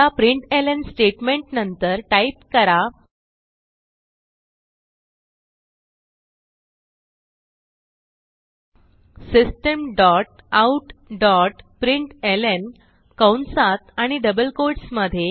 आता प्रिंटलं स्टेटमेंटनंतर टाईप करा system dot out dot println कंसात आणि डबल कोट्स मधे